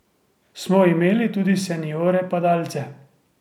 Smo imeli tudi seniorje padalce.